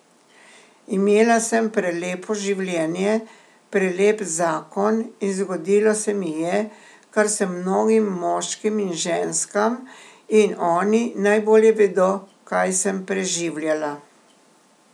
Imela sem prelepo življenje, prelep zakon in zgodilo se mi je, kar se mnogim moškim in ženskam, in oni najbolje vedo, kaj sem preživljala.